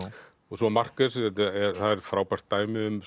svo Marquez það er frábært dæmi um